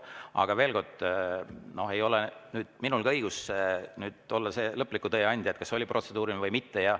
Aga veel kord: ei ole minul õigust olla see lõpliku tõe andja, kas oli protseduuriline või mitte.